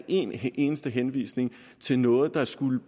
en eneste henvisning til noget der skulle